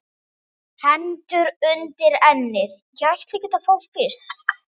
Hendur undir ennið.